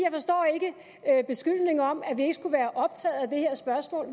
at beskyldningen om at vi ikke skulle være optaget af det her spørgsmål